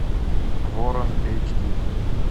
ворон эйч ди